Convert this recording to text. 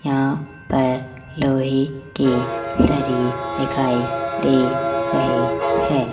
यहां पर लोहे की सरी दिखाई दे रहे हैं।